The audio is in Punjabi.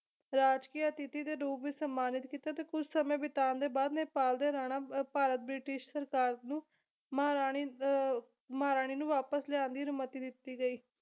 ਰਾਜਕੀਏ ਅਤਿਥੀ ਦੇ ਰੂਪ ਵਿੱਚ ਸਨਮਾਨਿਤ ਕੀਤਾ ਤੇ ਕੁਛ ਸਮੇਂ ਬਿਤਾਉਣ ਦੇ ਬਾਅਦ ਨੇਪਾਲ ਦੇ ਰਾਣਾ ਭਾਰਤ ਬ੍ਰਿਟਿਸ਼ ਸਰਕਾਰ ਨੂੰ ਮਹਾਰਾਣੀ ਅਹ ਮਹਾਰਾਣੀ ਨੂੰ ਵਾਪਸ ਲਿਆਉਣ ਦੀ ਅਨੁਮਤੀ ਦਿੱਤੀ ਗਈ